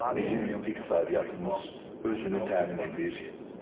Bizim iqtisadiyyatımız özünü təmin edir.